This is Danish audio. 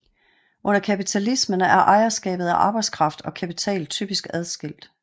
Under kapitalismen er ejerskabet af arbejdskraft og kapital typisk adskilt